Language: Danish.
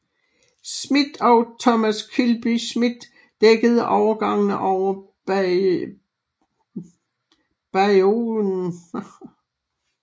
Smith og Thomas Kilby Smith dækkede overgangene over bayouen ot 6